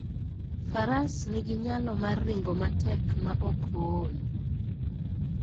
Faras nigi nyalo mar ringo matek maok ool.